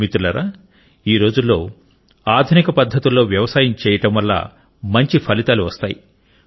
మిత్రులారా ఈరోజుల్లో ఆధునిక పద్ధతుల్లో వ్యవసాయం చేయడం వల్ల మంచి ఫలితాలు వస్తాయి